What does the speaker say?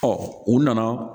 u nana